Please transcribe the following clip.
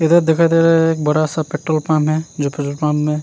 इधर दिखाई दे रहा है एक बड़ा सा पेट्रोल पंप है जो पेट्रोल पंप --